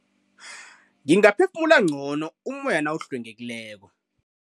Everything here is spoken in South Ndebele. Ngingaphefumula ngcono ummoya nawuhlwengekileko.